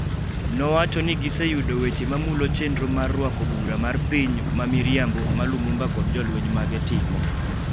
Nowacho ni giseyudo weche mamulo chenro mar rwako bura mar piny “ma miriambo” ma Lumumba kod jolweny mage timo,